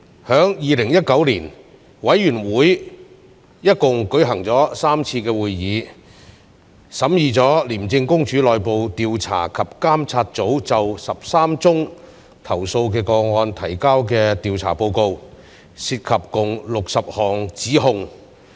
在2019年，委員會一共舉行了3次會議，審議了廉政公署內部調查及監察組就13宗投訴個案提交的調查報告，涉及共68項指控。